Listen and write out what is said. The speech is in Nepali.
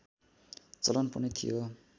चलन पनि थियो